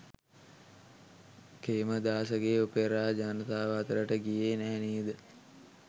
කේමදාසගේ opera ජනතාව අතරට ගියේ නැහැ නේද.